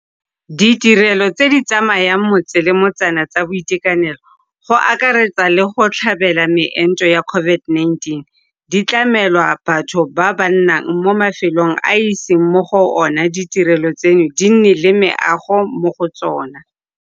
Ditirelo tse di tsamayang motse ka motsana tsa boitekanelo, go akaretsa le tsa go tlhabela meento ya COVID-19, di tlamelwa batho ba ba nnang mo mafelong a a iseng mo go ona ditirelo tseno di nne le meago mo go tsona.